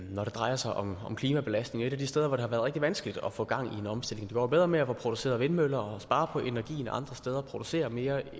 når det drejer sig om klimabelastning og et af de steder hvor det har været rigtig vanskeligt at få gang i en omstilling det går jo bedre med at få produceret vindmøller og spare på energien andre steder og producere mere